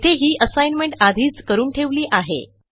येथे ही असाइनमेंट आधीच करून ठेवली आहे